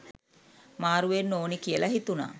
මාරු‍ වෙන්න ඕනෙ කියල හිතුන.